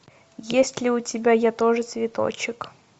есть ли у тебя я тоже цветочек